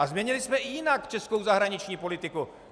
A změnili jsme i jinak českou zahraniční politiku.